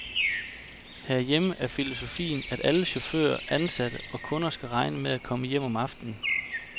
Herhjemme er filosofien, at alle chauffører, ansatte og kunder skal regne med at komme hjem om aftenen.